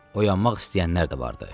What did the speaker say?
Oyanmaq istəyənlər də vardır.